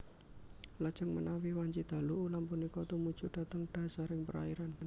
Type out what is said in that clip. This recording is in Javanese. Lajeng menawi wanci dalu ulam punika tumuju dhateng dhasaring perairan